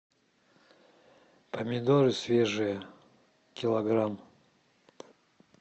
помидоры свежие килограмм